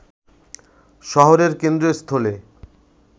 শহরের কেন্দ্রস্থলে